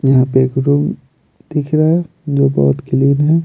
यहाँ पे एक रूम दिख रहा है जो बहोत क्लीन है।